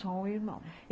Só um irmão.